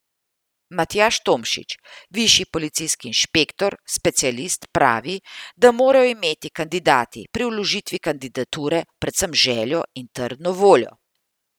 Matjaž Tomšič, višji policijski inšpektor specialist, pravi, da morajo imeti kandidati pri vložitvi kandidature predvsem željo in trdno voljo.